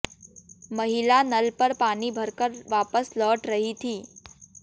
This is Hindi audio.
महिला नल पर पानी भर कर वापस लौट रही थी